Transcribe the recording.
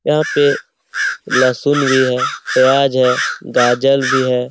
यहाँ पे लहसून भी है प्याज है गाजर भी है।